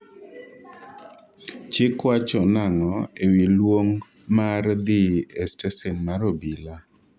chik wacho nang'o ewi luong mar dhi e stesen mar obila?